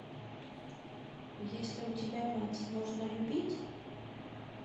есть ли у тебя мать нужно любить